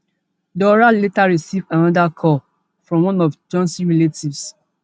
dora later receive anoda call from one of johnson relatives